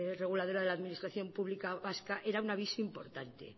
reguladora de la administración pública vasca era un aviso importante